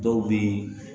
Dɔw bɛ